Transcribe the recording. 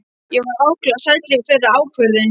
Ég var ákaflega sæll yfir þeirri ákvörðun.